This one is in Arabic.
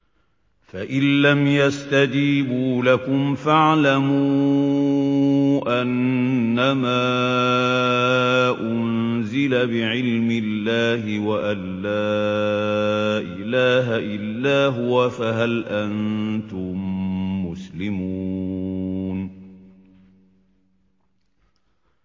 فَإِلَّمْ يَسْتَجِيبُوا لَكُمْ فَاعْلَمُوا أَنَّمَا أُنزِلَ بِعِلْمِ اللَّهِ وَأَن لَّا إِلَٰهَ إِلَّا هُوَ ۖ فَهَلْ أَنتُم مُّسْلِمُونَ